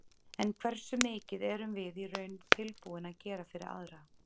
En hversu mikið erum við í raun tilbúin að gera fyrir aðra?